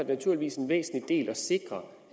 naturligvis en væsentlig del at sikre